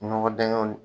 Nɔgɔ dingɛw